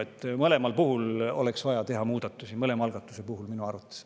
Mõlemal algatuse puhul oleks vaja teha muudatusi minu arvates.